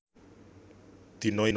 Dina iku pancèn kawastanan Yaumul Tarwiyah